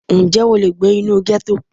Ǹjẹ́ o lè gbé inú gẹ́tò?